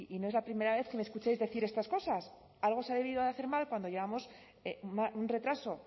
no es la primera vez que me escucháis decir estas cosas algo se ha debido de hacer mal cuando llevamos un retraso